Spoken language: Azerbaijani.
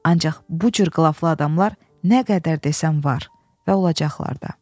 Ancaq bu cür qılaflı adamlar nə qədər desən var və olacaqlar da.